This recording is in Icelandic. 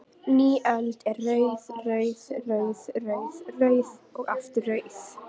Ný öld er rauð, rauð, rauð, rauð, rauð og aftur rauð?